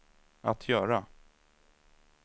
att göra